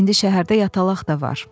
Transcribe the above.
İndi şəhərdə yatalaq da var.